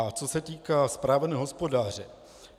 A co se týká správného hospodáře.